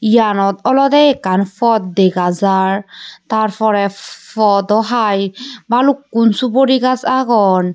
yanot olode ekkan pod dega jar tar pore podo hai balukkun suguri gaj agon.